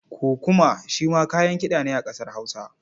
Kukuma shi ma kayan kiɗa ne a ƙasar Hausa.